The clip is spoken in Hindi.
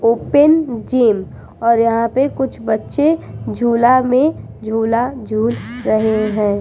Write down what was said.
ओपन जिम और यहाँ पे कुछ बच्चे झूला में झूला झूल रहे हैं।